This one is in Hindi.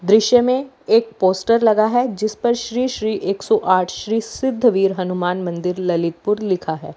दृश्य में एक पोस्टर लगा है जिस पर श्री श्री एक सौ आठ श्री सिद्धवीर हनुमान मंदिर ललितपुर लिखा है।